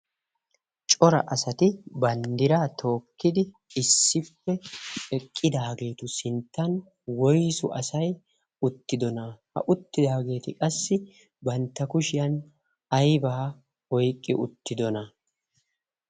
cora asati banddiraa tookkidi issippe eqqidaageetu sinttan woisu asai uttidona? ha uttidaageeti qassi bantta kushiyan aibaa oiqqi uttidona?